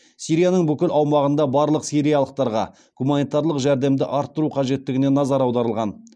сирияның бүкіл аумағында барлық сириялықтарға гуманитарлық жәрдемді арттыру қажеттігіне назар аударылған